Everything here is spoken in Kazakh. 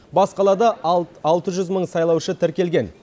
бас қалада алты жүз мың сайлаушы тіркелген